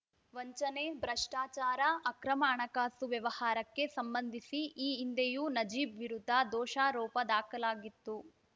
ವಂಚನೆ ಭ್ರಷ್ಟಾಚಾರ ಅಕ್ರಮ ಹಣಕಾಸು ವ್ಯವಹಾರಕ್ಕೆ ಸಂಬಂಧಿಸಿ ಈ ಹಿಂದೆಯೂ ನಜೀಬ್‌ ವಿರುದ್ಧ ದೋಷಾರೋಪ ದಾಖಲಾಗಿತ್ತು